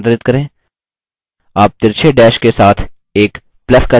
आप तिरछे dash के साथ एक plus का चिन्ह देखेंगे